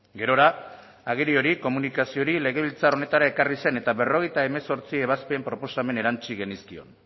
gerora agiri hori komunikazio hori legebiltzar honetara ekarri zen eta berrogeita hemezortzi ebazpen proposamen erantsi genizkion